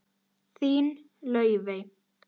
Þín, Laufey.